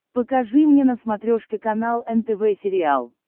покажи мне на смотрешке канал нтв сериал